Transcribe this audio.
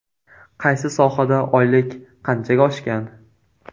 Qaysi sohada oylik qanchaga oshgan?